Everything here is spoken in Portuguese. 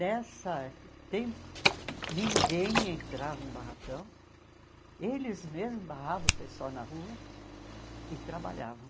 Nessa tempo, ninguém entrava em barracão, eles mesmos barravam o pessoal na rua e trabalhavam.